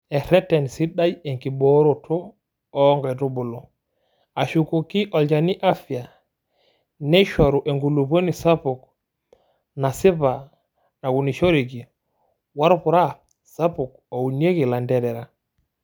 Ereten sidai enkibooroto oo nkaitubulu, ashukoki olchani afya, neishoru enkulupuoni sapuk nasipa naunishoreki woorpura sapuk ounieki ilanterera.